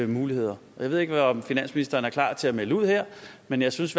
muligheder og jeg ved ikke om finansministeren er klar til at melde ud her men jeg synes